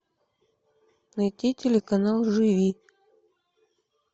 найти телеканал живи